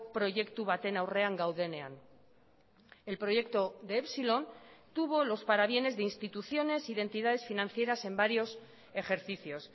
proiektu baten aurrean gaudenean el proyecto de epsilon tuvo los parabienes de instituciones identidades financieras en varios ejercicios